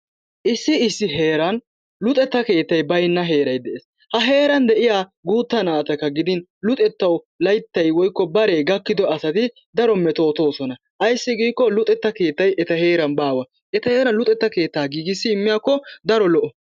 Issi issi heeran luxetta keettay baynna heeray de'es ha heeran de'iyaa guutta naatta gidin luxettawu layttay woykko bare gakido asati daro metootosona, ayssi giiko luxetta keettay etta heeran baawa. Etta heeran luxetta keetta giigissi imyaako daro lo'o.